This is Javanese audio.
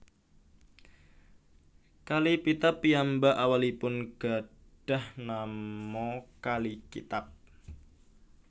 Kali Pitap piyambak awalipun gadhah nama kali Kitab